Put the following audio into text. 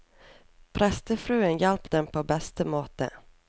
Prestefruen hjalp dem på beste måte.